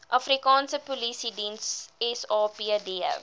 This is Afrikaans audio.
afrikaanse polisiediens sapd